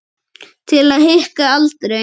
Til að hika aldrei.